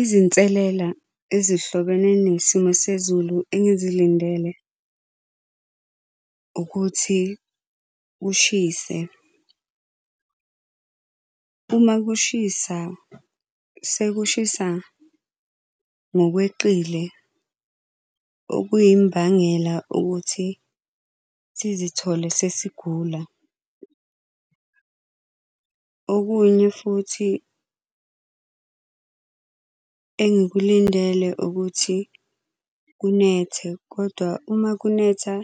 Izinselela ezihlobene nesimo sezulu engizilindele ukuthi kushise. Uma kushisa, sekushisa ngokweqile okuyimbangela ukuthi sizithole sesigula. Okunye futhi engikulindele ukuthi kunethe, kodwa uma kunetha